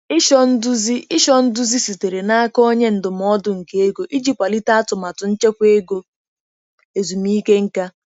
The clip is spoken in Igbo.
Ịchọ nduzi Ịchọ nduzi sitere n'aka onye ndụmọdụ nke ego iji kwalite atụmatụ nchekwa ego ezumike nka.